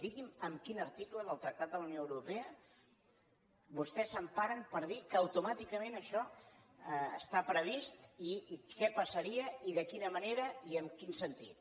digui’m en quin article del tractat de la unió europea vostès s’emparen per dir que automàticament això està previst i què passaria i de quina manera i en quin sentit